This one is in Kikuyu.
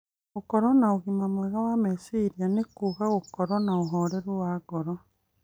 Gũkorũo na ũgima mwega wa meciria nĩ kuuga gũkorũo na ũhoreru wa ngoro